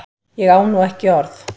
Ég á nú ekki orð!